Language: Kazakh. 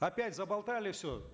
опять заболтали все